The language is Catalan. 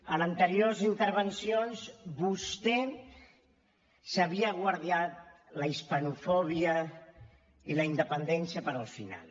en anteriors intervencions vostè s’havia guardat la hispanofòbia i la independència per al final